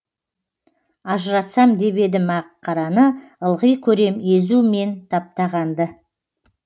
ажыратсам деп едім ақ қараны ылғи көрем езу мен таптағанды